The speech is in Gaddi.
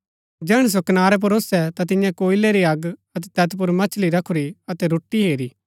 जैहणै सो कनारै पुर ओसै ता तियें कोयलै री अग अतै तैत पुर मछली रखुरी अतै रोटी हेरी